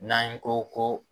N'an ye ko ko